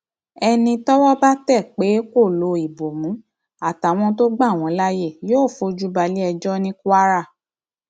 ẹni tọwọ bá tẹ pé kó lo ìbomú àtàwọn tó gbà wọn láàyè yóò fojú balẹẹjọ ní kwara